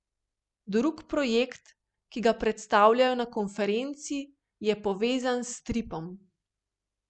Drugi projekt, ki ga predstavljajo na konferenci, je povezan s stripom.